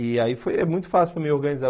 E aí foi é muito fácil para eu me organizar.